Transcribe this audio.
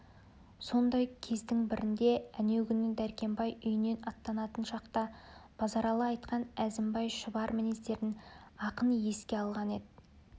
сондай кездің бірінде әнеугүні дәркембай үйінен аттанатын шақта базаралы айтқан әзімбай шұбар мінездерін ақын еске алған еді